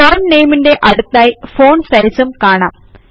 font Nameന്റെ അടുത്തായി font Sizeഉം കാണാം